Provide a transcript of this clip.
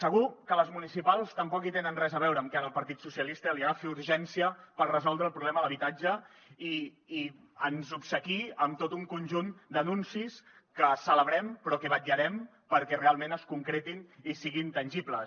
segur que les municipals tampoc hi tenen res a veure amb que ara al partit so cialistes li agafi urgència per resoldre el problema de l’habitatge i ens obsequiï amb tot un conjunt d’anuncis que celebrem però que vetllarem perquè realment es concretin i siguin tangibles